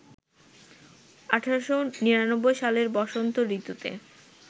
১৮৯৯ সালের বসন্ত ঋতুতে